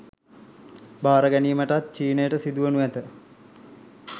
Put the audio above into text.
භාර ගැනීමටත් චීනයට සිදුවනු ඇත